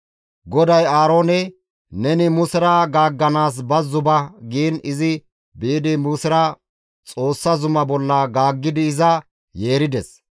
GODAY Aaroone, «Neni Musera gaagganaas bazzo ba» giin izi biidi Musera Xoossa zumaa bolla gaaggidi iza yeerides.